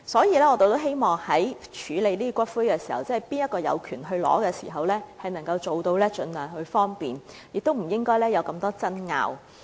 因此，我們希望在處理誰人有權領取骨灰的問題上，能夠盡量方便他們，減少爭拗。